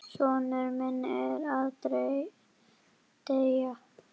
Sonur minn er að deyja.